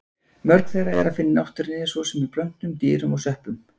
Mörg þeirra er að finna í náttúrunni, svo sem í plöntum, dýrum og sveppum.